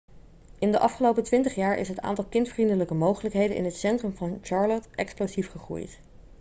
in de afgelopen 20 jaar is het aantal kindvriendelijke mogelijkheden in het centrum van charlotte explosief gegroeid